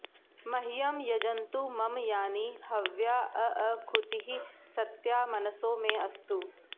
मह्यं॑ यजन्तु॒ मम॒ यानि॑ ह॒व्याऽऽकू॑तिः स॒त्या मन॑सो मे अस्तु